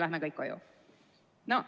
Lähme kõik koju!